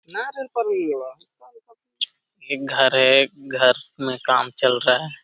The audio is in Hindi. यह घर है घर में काम चल रहा है।